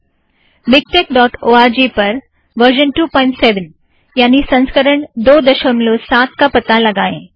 miktekओआरजी MiKTeX dot org पर version 27 यानि संस्करण दो दशमलव साथ का पता लगाएँ